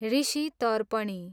Rishi Tarpani